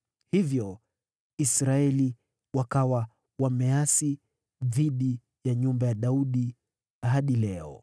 Hivyo Israeli wakaasi dhidi ya nyumba ya Daudi hadi leo.